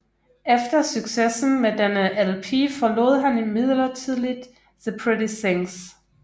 Efter succesen med denne LP forlod han midlertidigt The Pretty Things